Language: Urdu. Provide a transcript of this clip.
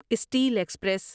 steel express